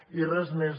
i res més